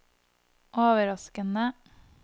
overraskende